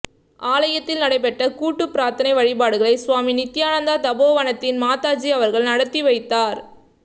ஆலயத்தில் நடைபெற்ற கூட்டுப்பிரார்த்தனை வழிபாடுகளை சுவாமி நித்தியானந்தா தபோவனத்தின் மாதாஜி அவர்கள் நடாத்தி வைத்தார்